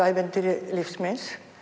ævintýri lífs míns